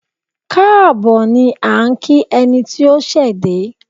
Káàbọ̀ ni à ń kí ẹni tí ó ṣẹ̀ dé.